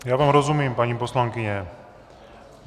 Já vám rozumím, paní poslankyně.